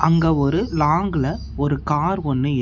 இங்க ஒரு லாங்குல ஒரு கார் ஒன்னு இருக்.